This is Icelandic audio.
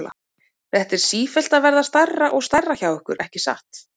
Þetta er sífellt að verða stærra og stærra hjá ykkur, ekki satt?